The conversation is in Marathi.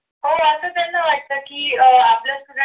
हो असं त्यांना वाटतं की अह आपलं student